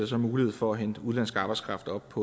så mulighed for at hente udenlandsk arbejdskraft op